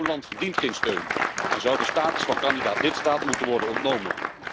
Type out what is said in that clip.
Zo'n land verdient geen steun en zou de status van kandidaat lidstaat moeten worden ontnomen.